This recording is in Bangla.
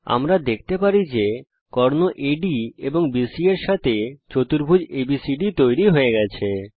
আমরা দেখতে পারি যে কর্ণ আদ এবং BC এর সঙ্গে চতুর্ভুজ এবিসিডি তৈরী হয়ে গেছে